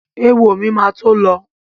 Éwo mi ma tó lọ